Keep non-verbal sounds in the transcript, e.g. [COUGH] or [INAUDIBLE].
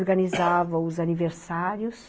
[COUGHS] Organizava os aniversários.